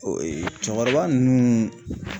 cɛkɔrɔba ninnu